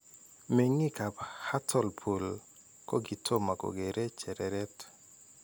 Menginik ap Hartlepool kokitoma kokeree chereret